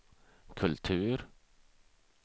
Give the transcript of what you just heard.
kultur